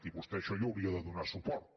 i vostè a això hi hauria de donar suport